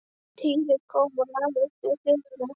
Týri kom og lagðist við hlið hennar.